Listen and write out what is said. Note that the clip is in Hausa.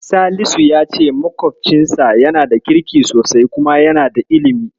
Salisu ya ce maƙwofcinsa yana da kirki sosai kuma yana da ilimi.